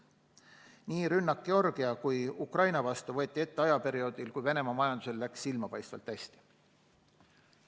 Nii rünnak Georgia kui Ukraina vastu võeti ette ajal, kui Venemaa majandusel läks silmapaistvalt hästi.